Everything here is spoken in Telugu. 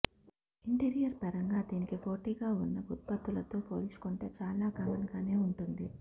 ఇంటీరియర్ పరంగా దీనికి పోటీగా ఉన్న ఉత్పత్తులతో పోల్చుకుంటే చాలా కామన్గానే ఉంటుంది